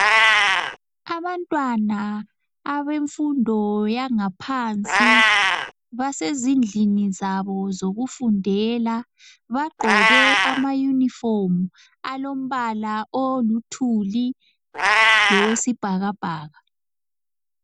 Abantwana abemfundo yangaphansi basezindlini zabo zokufundela bagqoke amayunifomu alombala oluthuli lowesibhakabhaka.